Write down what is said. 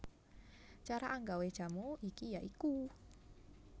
Cara anggawé jamu iki ya iku